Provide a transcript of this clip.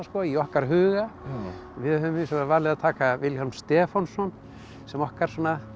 í okkar huga við höfum hins vegar valið að taka Vilhjálm Stefánsson sem okkar svona